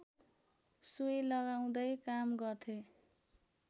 सुई लगाउँदै काम गर्थे